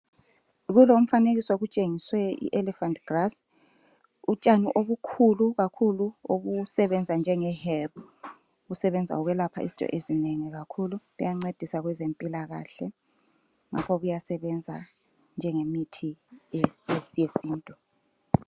Kulomfanekiso kutshengiswe ielephant grass utshani obukhulu kakhulu obusebenza njengeherb kusebenza ukwelapha izinto ezinengi kakhulu kuyancedisa kwezempilakahle ngakho kuyasebenza njengemithi yesiNtu .